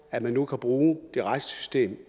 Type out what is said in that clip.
at man nu kan bruge det retslige